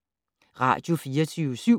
Radio24syv